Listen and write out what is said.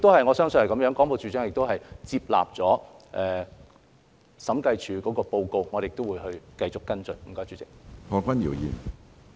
我相信廣播處長亦接納審計署的報告，我們亦會繼續跟進。